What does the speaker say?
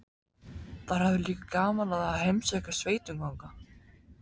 Þær höfðu líka gaman af að heimsækja sveitungana.